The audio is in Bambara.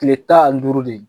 Tile tan ani duuru de ye